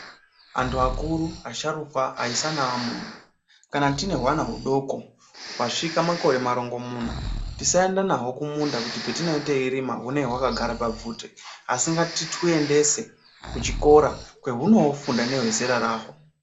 Anthu akuru asharukwa aisa neamuna kana tiine huana hudoko hwazvika makore marongomuna tisaenda nhaho kumunda kuti patinge teirima hunenge hwakagara pabvute asi ngatitwuendese kuchikora kwehunoofunde nehwezera raho.